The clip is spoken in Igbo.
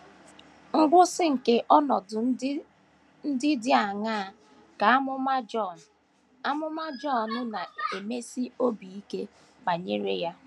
Ngwụsị nke ọnọdụ ndị dị aṅaa ka amụma Jọn amụma Jọn na - emesi obi ike banyere ha?